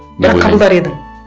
бірақ қабылдар едің